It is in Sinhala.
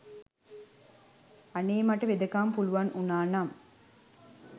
අනේ මට වෙදකම පුළුවන් වුනා නං